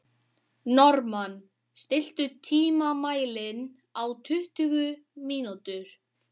Normann, stilltu tímamælinn á tuttugu mínútur.